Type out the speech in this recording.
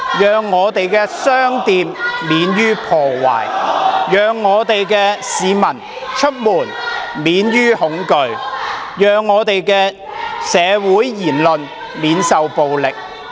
讓我們的商店免於破壞，讓我們的市民出門免於恐懼，讓社會言論免於暴力。